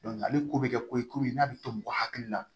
ale ko bɛ kɛ ko ye komi n'a bɛ to mɔgɔ hakili la